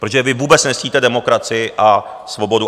Protože vy vůbec nectíte demokracii a svobodu.